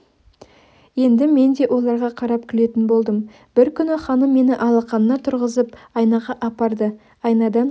енді мен де оларға қарап күлетін болдым бір күні ханым мені алақанына тұрғызып айнаға апарды айнадан